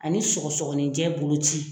A ni sɔgɔsɔgɔnijɛ boloci.